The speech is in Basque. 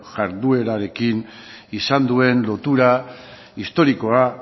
jarduerarekin izan duen lotura historikoa